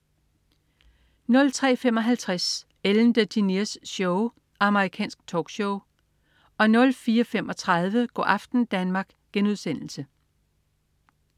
03.55 Ellen DeGeneres Show. Amerikansk talkshow 04.35 Go' aften Danmark*